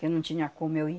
Porque não tinha como eu ir.